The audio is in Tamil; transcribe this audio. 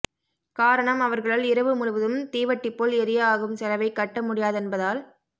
காரணம் அவர்களால் இரவு முழுவதும் தீவட்டி போல் எரிய ஆகும் செலவை கட்ட முடியாதென்பதால்